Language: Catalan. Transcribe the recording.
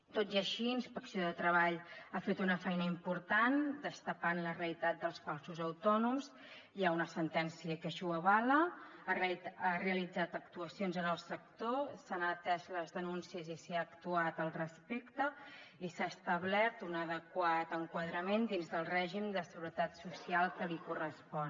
tot i així inspecció de treball ha fet una feina important destapant la realitat dels falsos autònoms hi ha una sentència que així ho avala ha realitzat actuacions en el sector s’han atès les denúncies i s’hi ha actuat al respecte i s’ha establert un adequat enquadrament dins del règim de seguretat social que li correspon